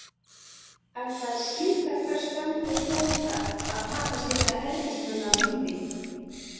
Enda er skylda hvers stöndugs bónda að taka slíka ergismenn af lífi.